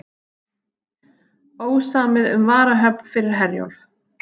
Ósamið um varahöfn fyrir Herjólf